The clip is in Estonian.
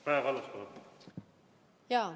Kaja Kallas, palun!